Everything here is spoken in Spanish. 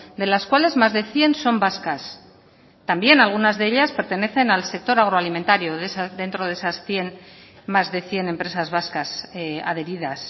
de las cuales más de cien son vascas también algunas de ellas pertenecen al sector agroalimentario dentro de esas más de cien empresas vascas adheridas